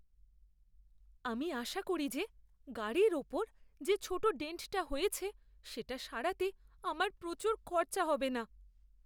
আমি আশা করি যে গাড়ির ওপর যে ছোট ডেন্টটা হয়েছে সেটা সারাতে আমার প্রচুর খরচা হবে না।